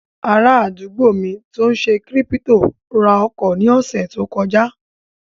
Ará àdúgbò mi tó n ṣe kírípítò ra ọkọ̀ ní ọ̀sẹ̀ tó kọjá